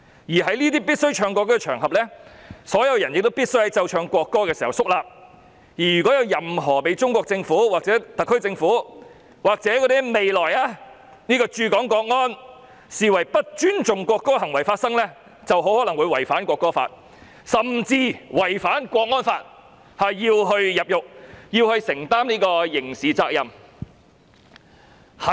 而在這些須奏唱國歌的場合中，所有人必須在奏唱國歌時肅立，如果有人作出任何被中國政府、特區政府或未來駐港國安人員視為不尊重國歌的行為，很可能會因違反《國歌法》，甚至是違反港區國安法而需要承擔刑事責任或入獄。